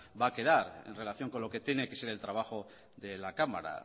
va a quedar en relación con lo que tiene que ser el trabajo de la cámara